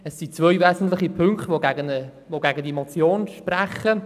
Es sind zwei wesentliche Punkte, die gegen die Motion sprechen.